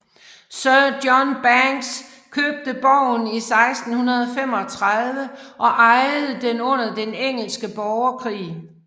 Sir John Bankes købte borgen i 1635 og ejede den under den engelske borgerkrig